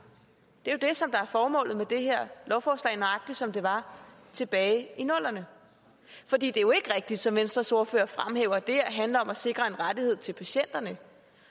det er jo det som er formålet med det her lovforslag nøjagtig som det var tilbage i nullerne for det er jo ikke rigtigt som venstres ordfører fremhæver at det her handler om at sikre en rettighed til patienterne